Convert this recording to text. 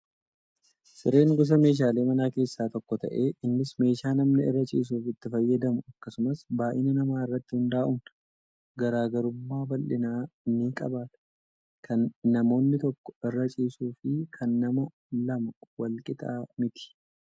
Sireen gosa meeshaalee manaa keessaa tokko ta'ee innis meeshaa namni irra ciisuuf itti fayyadamu akkasumas baay'ina namaa irratti hundaa'uun garaagarummaa bal'inaa ni qabaata. Kan namni tokko irra ciisuu fi kan nama lamaa wal qixa miti